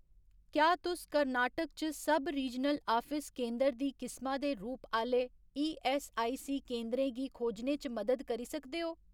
क्या तुस कर्नाटक च सब रीजनल आफिस केंदर दी किसमा दे रूप आह्‌ले ईऐस्सआईसी केंदरें गी खोजने च मदद करी सकदे ओ ?